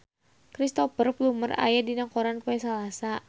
Cristhoper Plumer aya dina koran poe Salasa